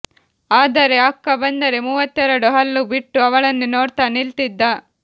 ಆದರೆ ಅಕ್ಕ ಬಂದರೆ ಮೂವತ್ತೆರಡೂ ಹಲ್ಲು ಬಿಟ್ಟು ಅವಳನ್ನೇ ನೋಡ್ತಾ ನಿಲ್ತಿದ್ದ